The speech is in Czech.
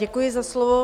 Děkuji za slovo.